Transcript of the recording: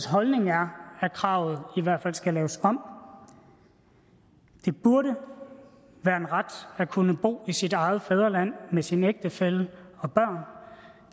holdning er at kravet i hvert fald skal laves om det burde være en ret at kunne bo i sit eget fædreland med sin ægtefælle og børn